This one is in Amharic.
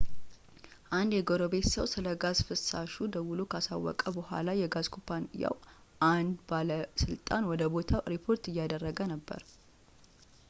አንድ የጎረቤት ሰው ስለ ጋዝ ፍሳሹ ደውሎ ካሳወቀ በኋላ የጋዝ ኩባንያው አንድ ባለሥልጣን ወደ ቦታው ሪፖርት እያደረገ ነበር